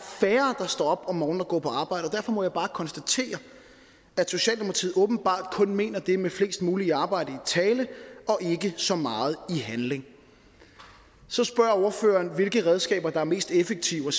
færre der står op om morgenen og går på arbejde derfor må jeg bare konstatere at socialdemokratiet åbenbart kun mener det med flest muligt i arbejde i tale og ikke så meget i handling så spørge ordføreren hvilke redskaber der er mest effektive og